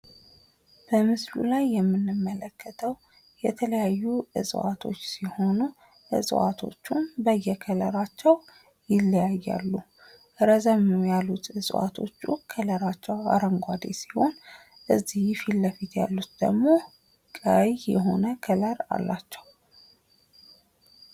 በምስሉ ላይ የምንመለከተው የተለያዩ እጽዋቶች ሲሆኑ ዕፅዋቶቹም በየከለራቸው ይለያያሉ። ረዘም ያሉት ዕጽዋቶች አረንጓዴ ሲሆኑ እዚህ ፊት ለፊት ያሉት ደግሞ ቀይ የሆነ ከለር አላቸው።